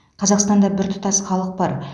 қазақстанда біртұтас халық бар